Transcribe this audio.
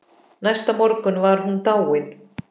Næsta morgun var hún dáin.